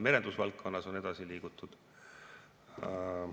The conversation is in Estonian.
Merendusvaldkonnas on edasi liigutud.